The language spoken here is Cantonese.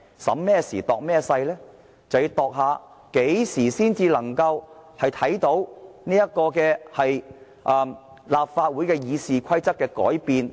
就是要衡量何時才能夠看到立法會《議事規則》的改變。